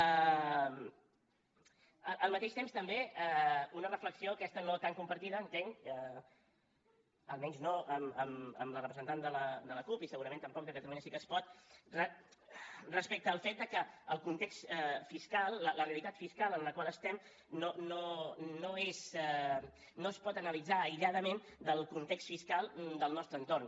al mateix temps també una reflexió aquesta no tan compartida entenc almenys no amb la representant de la cup i segurament tampoc de catalunya sí que es pot respecte al fet que el context fiscal la realitat fiscal en la qual estem no es pot analitzar aïlladament del context fiscal del nostre entorn